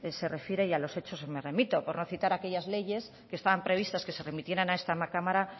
se refiere y a los hechos me remito por no citar aquellas leyes que estaban previstas que se remitieran a esta cámara